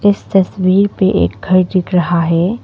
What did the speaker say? इस तस्वीर पे एक घर दिख रहा है।